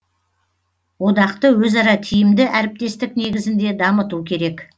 одақты өзара тиімді әріптестік негізінде дамыту керек